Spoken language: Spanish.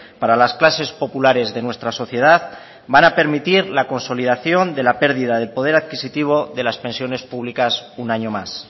para las clases populares de nuestra sociedad van a permitir la consolidación de la pérdida de poder adquisitivo de las pensiones públicas un año más